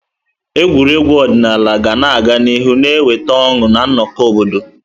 Egwuregwu ọdịnala ga-aga n'ihu na-eweta ọṅụ na nnọkọ obodo.